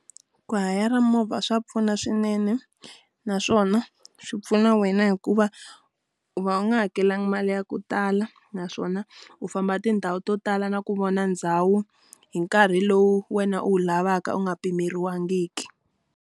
Ku hayara movha swa pfuna swinene naswona swi pfuna wena hikuva, u va u nga hakelanga mali ya ku tala naswona u famba tindhawu to tala na ku vona ndhawu hi nkarhi lowu wena u wu lavaka u nga pimeriwangiki.